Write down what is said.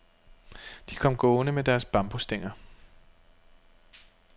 De kom gående med deres bambusstænger.